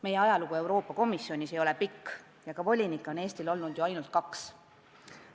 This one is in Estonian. Meie ajalugu Euroopa Komisjonis ei ole pikk, volinikke on Eestil olnud ju ainult kaks.